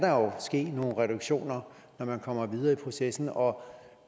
ske nogle reduktioner når man kommer videre i processen og